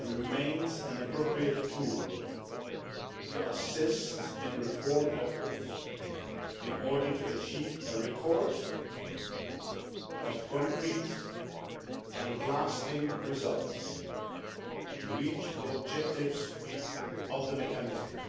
remains an appropriate tool to assist in reform efforts in order to achieve a record of concrete and lasting results to reach the objectives of the mechanism'.